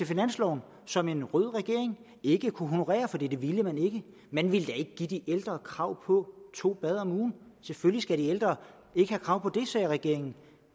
finansloven og som en rød regering ikke kunne honorere for det ville man ikke man ville da ikke give de ældre krav på to bad om ugen selvfølgelig skal de ældre ikke have krav på det sagde regeringen